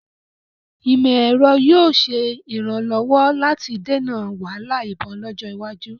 Ìmọ̀-ẹ̀rọ yóò ṣe ìrànlọ́wọ́ láti dènà wahala ìbọn lọ́jọ́ iwájú